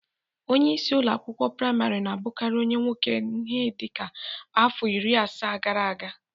Onyeisi ụlọ akwụkwọ prịmarị na-abụkarị onye nwoke ihe dịka afọ iri asaa gara aga.